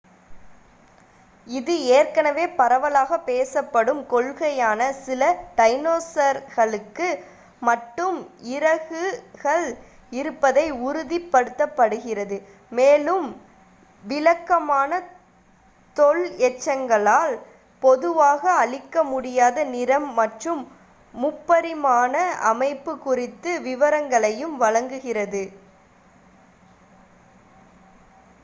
இது ஏற்கனவே பரவலாக பேசப்படும் கொள்கையான சில டைனோசர்களுக்கு மட்டும் இறகுகள் இருப்பதை உறுதிப்படுத்துகிறது மேலும் விளக்கமான தொல் எச்சங்களால் பொதுவாக அளிக்க முடியாத நிறம் மற்றும் முப்பரிமாண அமைப்பு குறித்த விவரங்களையும் வழங்குகிறது